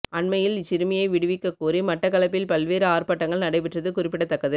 அண்மையில் இச் சிறுமியை விடுவிக்ககோரி மட்டக்கப்பில் பல்வேறு ஆர்ப்பாட்டங்கள் நடைபெற்றது குறிப்பிடதக்கது